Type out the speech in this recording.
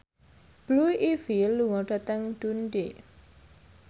Blue Ivy lunga dhateng Dundee